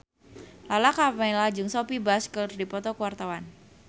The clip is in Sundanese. Lala Karmela jeung Sophia Bush keur dipoto ku wartawan